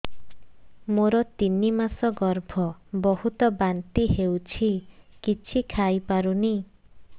ମୋର ତିନି ମାସ ଗର୍ଭ ବହୁତ ବାନ୍ତି ହେଉଛି କିଛି ଖାଇ ପାରୁନି